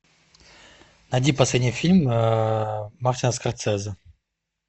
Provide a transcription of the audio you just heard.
найди последний фильм мартина скорсезе